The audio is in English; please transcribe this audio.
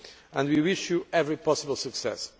and we wish you every possible success.